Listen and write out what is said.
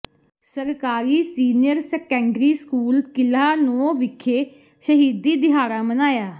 ਸਰਕਾਰੀ senior secondary school ਕਿਲਾ ਨੌ ਵਿਖੇ ਸ਼ਹੀਦੀ ਦਿਹਾੜਾ ਮਨਾਇਆ